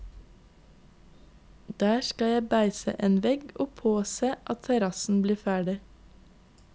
Der skal jeg beise en vegg og påse at terrassen blir ferdig.